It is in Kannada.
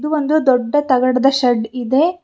ಇದು ಒಂದು ದೊಡ್ಡ ತಗಡದ್ ಶೇಡ್ ಇದೆ.